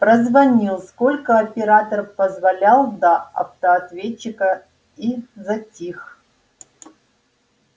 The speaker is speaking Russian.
прозвонил сколько оператор позволял до автоответчика и затих